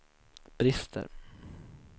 brister